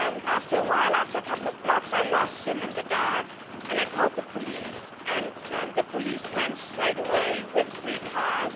After a couple of blocks, I lost him in the dark and I called the police. The police came straight away with three cars.